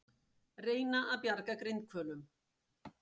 Reyna að bjarga grindhvölum